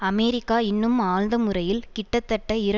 America இன்னும் ஆழ்ந்த முறையில் கிட்டத்தட்ட இர